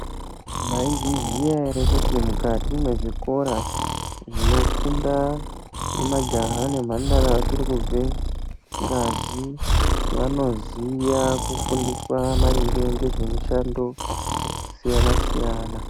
Maizviziya ere kuti mukati mezvikora zvinofunda majaha nemhandara achirikubve ngazi, vanoziya kufundiswa maringe ngezvemushando yakasiyana-siyana.